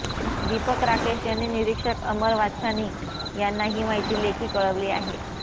दीपक राकेश यांनी निरीक्षक अमर वाच्छानी यांना ही माहिती लेखी कळवली आहे